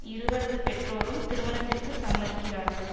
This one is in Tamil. இருவரது பெற்றோரும் திருமணத்திற்கு சம்மதிக்கிறார்கள்